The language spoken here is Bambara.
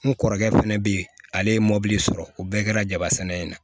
N kɔrɔkɛ fɛnɛ be yen ale ye mobili sɔrɔ o bɛɛ kɛra jabasɛnɛ in na